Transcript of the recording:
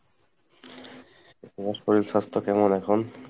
তোমার শরিল স্বাস্থ কেমন এখন?